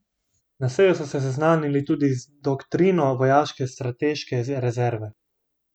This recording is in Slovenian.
Na seji so se seznanili tudi z doktrino vojaške strateške rezerve.